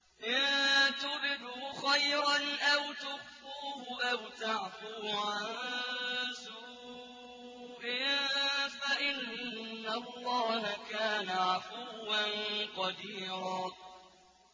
إِن تُبْدُوا خَيْرًا أَوْ تُخْفُوهُ أَوْ تَعْفُوا عَن سُوءٍ فَإِنَّ اللَّهَ كَانَ عَفُوًّا قَدِيرًا